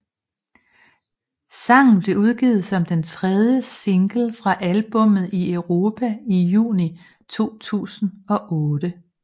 Sangen blev udgivet som den tredje singlen fra albummet i Europa i juni 2008